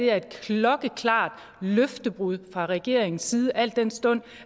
er et klokkeklart løftebrud fra regeringens side al den stund